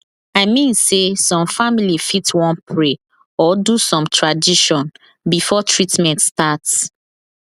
i mean sey some family fit wan pray or do some tradition before treatment start